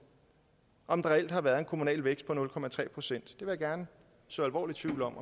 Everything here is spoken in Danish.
om der reelt har været en kommunal vækst på nul procent jeg vil gerne så alvorlig tvivl om